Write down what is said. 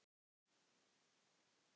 Og það er ekki slæmt.